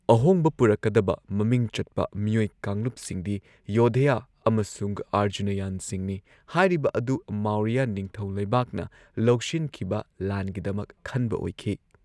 ꯑꯍꯣꯡꯕ ꯄꯨꯔꯛꯀꯗꯕ ꯃꯃꯤꯡ ꯆꯠꯄ ꯃꯤꯑꯣꯏ ꯀꯥꯡꯂꯨꯞꯁꯤꯡꯗꯤ ꯌꯣꯙꯦꯌ ꯑꯃꯁꯨꯡ ꯑꯔꯖꯨꯅꯥꯌꯟꯁꯤꯡꯅꯤ ꯍꯥꯏꯔꯤꯕ ꯑꯗꯨ ꯃꯧꯔꯤꯌꯥ ꯅꯤꯡꯊꯧ ꯂꯩꯕꯥꯛꯅ ꯂꯧꯁꯤꯟꯈꯤꯕ ꯂꯥꯟꯒꯤꯗꯃꯛ ꯈꯟꯕ ꯑꯣꯏꯈꯤ꯫